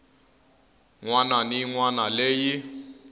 wana ni yin wana leyi